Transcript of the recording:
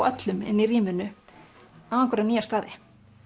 öllum inni í rýminu á einhverja nýja staði